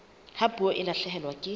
ha puo e lahlehelwa ke